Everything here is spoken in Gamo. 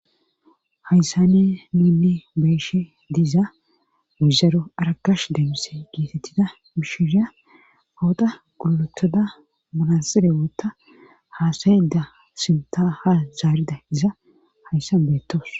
Hayssane niunni beyshe diiza guzaro arakash deemmise geetettida bishishya owoqa guletoda manasire wootta haasayeda sinta ha zaarida iza hayssan beettos